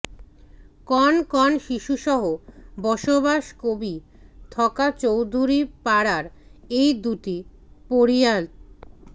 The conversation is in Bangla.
কণ কণ শিশুসহ বসবাস কৰি থকা চৌধুৰীপাৰাৰ এই দুটি পৰিয়ালত